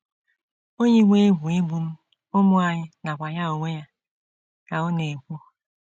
“ O yiwo egwu igbu m, ụmụ anyị, nakwa ya onwe ya, ” ka ọ na - ekwu.